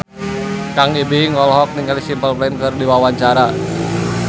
Kang Ibing olohok ningali Simple Plan keur diwawancara